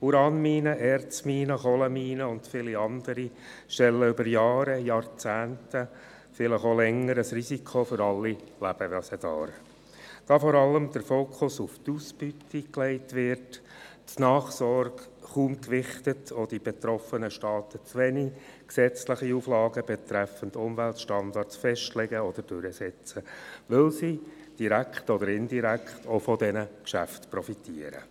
Uranminen, Erzminen, Kohleminen und viele andere stellen über Jahre und Jahrzehnte und vielleicht auch länger ein Risiko für alle Lebewesen dar, da der Fokus vor allem auf die Ausbeute gelegt, die Nachsorge kaum gewichtet wird und die betroffenen Staaten zu wenige gesetzliche Auflagen betreffend Umweltstandards festlegen oder durchsetzen, weil sie direkt oder indirekt auch von diesen Geschäften profitieren.